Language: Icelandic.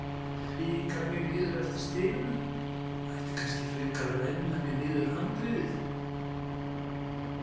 Fikra mig niður eftir stiganum, ætti kannski frekar að renna mér niður handriðið?